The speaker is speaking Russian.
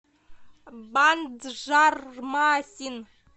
банджармасин